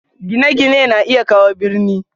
Gine-gine na iya kawo birni.